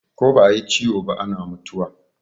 Ko ba a yi ciwo ba ana mutuwa.